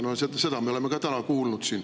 Seda me oleme ka täna siin kuulnud.